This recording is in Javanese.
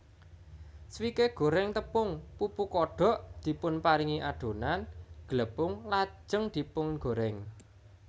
Swike goreng tepung pupu kodok dipunparingi adonan glepung lajeng dipungorèng